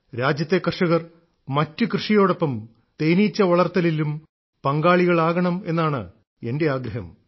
രാജ്യത്തെ കർഷകർ മറ്റു കൃഷിയോടൊപ്പം തേനീച്ച വളർത്തലിലും പങ്കാളികളാകണമെന്നാണ് എന്റെ ആഗ്രഹം